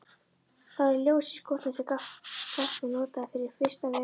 Það var ljós í skúrnum sem Skapti notaði fyrir vistarveru.